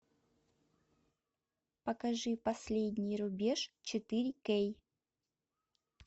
покажи последний рубеж четыре кей